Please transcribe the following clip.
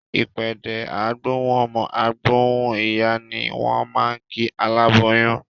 Ìpèdè "á gbóhùn ọmọ, á gbóhùn ìyá" ni wọ́n máa ń kí aláboyún